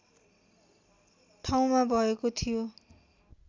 ठाउँमा भएको थियो